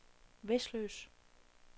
Vesløs